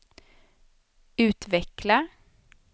utveckla